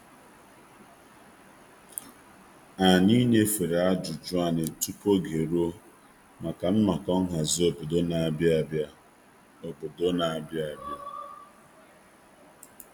Anyị nyefere ajụjụ anyị tupu oge eruo maka nnọkọ nhazi obodo n'abịa abịa.